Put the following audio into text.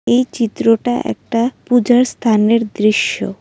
এই চিত্রটা একটা পূজার স্থানের দৃশ্য।